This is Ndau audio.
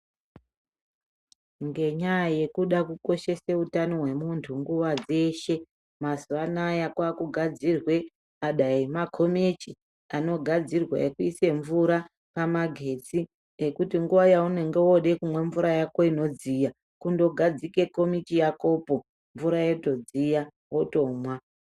Ngenyaya yekuda kukoshesa utano hwemuntu nguva dzeshe. Mazuva anaya kwakugadzirwe dai makomechi anogadzirwa ekuise mvura pamagetsi. Ekuti nguva yaunenge vakuda kumwa mvura yako inodziya kundogadzike komichi yakopo mvura yotodziya votomwa.